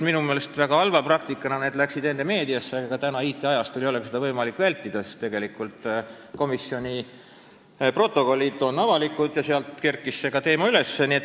Minu meelest väga halva praktikana jõudsid need enne meediasse, aga praegusel IT-ajastul ei olegi seda võimalik vältida, sest komisjoni protokollid on avalikud ja sealt kerkiski see teema üles.